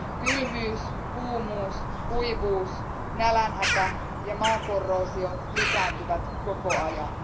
Kylmyys, kuumuus, kuivuus, nälänhätä ja maakorroosio lisääntyvät koko ajan.